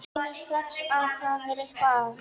Hún skynjar strax að það er eitthvað að.